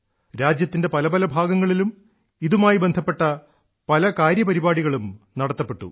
രാജ്യത്തിന്റെ പല പല ഭാഗങ്ങളിലും ഇതുമായി ബന്ധപ്പെട്ട പല കാര്യപരിപാടികളും നടത്തപ്പെട്ടു